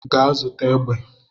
Gaa zụta egbe